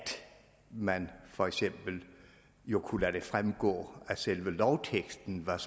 man for eksempel kunne lade det fremgår af selve lovteksten hvad